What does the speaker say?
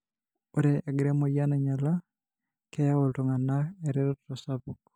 ore egira emoyian ainyiala ,keyieu iltungana eretoto sapuk.